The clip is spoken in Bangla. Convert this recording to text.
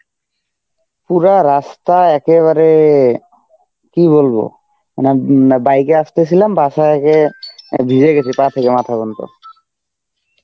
পুরা রাস্তা একেবারে কী বলবো মানে উম মা~ bike এ আসতেছিলাম বাসায় গিয়ে অ্যাঁ ভিজে গেছে পা থেকে মাথা পর্যন্ত.